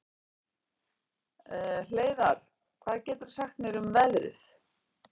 Hleiðar, hvað geturðu sagt mér um veðrið?